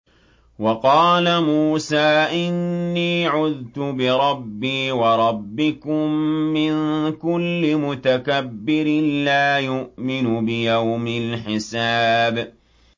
وَقَالَ مُوسَىٰ إِنِّي عُذْتُ بِرَبِّي وَرَبِّكُم مِّن كُلِّ مُتَكَبِّرٍ لَّا يُؤْمِنُ بِيَوْمِ الْحِسَابِ